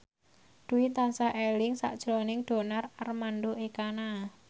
Dwi tansah eling sakjroning Donar Armando Ekana